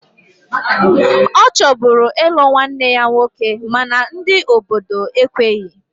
Ọ chọburu ịlụ nwanne ya nwoke mana ndị obodo ekweghi